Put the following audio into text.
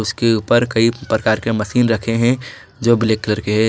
उसके ऊपर कई प्रकार के मशीन रखे हैं जो ब्लैक कलर के हैं।